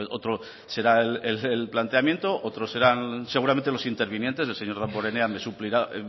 otro será el planteamiento otro serán seguramente los intervinientes el señor damborenea me suplirá